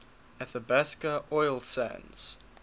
athabasca oil sands